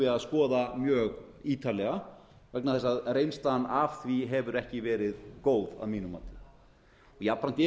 að skoða mjög ítarlega vegna þess að reynslan af því hefur ekki verið góð að mínu mati jafnframt eru